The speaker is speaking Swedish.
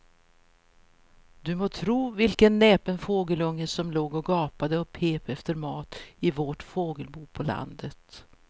Du må tro vilken näpen fågelunge som låg och gapade och pep efter mat i vårt fågelbo på landet.